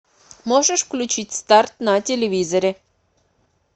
можешь включить старт на телевизоре